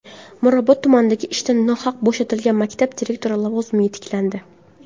Mirobod tumanida ishdan nohaq bo‘shatilgan maktab direktori lavozimiga tiklandi.